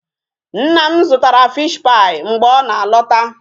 Nna m zụtara fish pie mgbe ọ na-alọta.